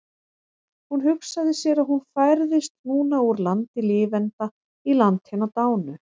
Hún hugsaði sér að hún færðist núna úr landi lifenda í land hinna dánu.